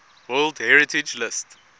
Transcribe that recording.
world heritage list